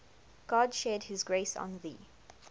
god shed his grace on thee